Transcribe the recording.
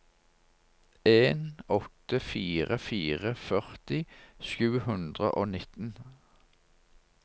en åtte fire fire førti sju hundre og nitten